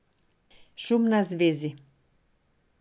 Šum na zvezi.